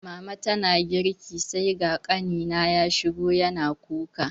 Mama tana girki sai ga ƙanina ya shigo yana kuka